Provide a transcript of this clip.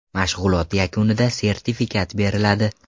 Mashg‘ulot yakunida sertifikat beriladi.